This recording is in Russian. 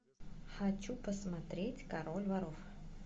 хочу посмотреть король воров